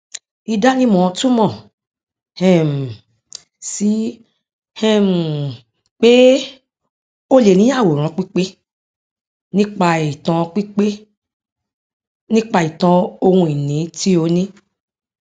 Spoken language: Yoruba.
ìdánimọ túmọ um sí um pé o lè ní àwòrán pípé nípa ìtàn pípé nípa ìtàn ohun ìní tí ó ní